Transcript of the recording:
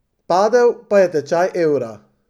Padel pa je tečaj evra.